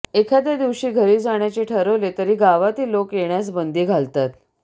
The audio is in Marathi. एखाद्या दिवशी घरी जाण्याचे ठरवले तरी गावातील लोक येण्यास बंदी घालतात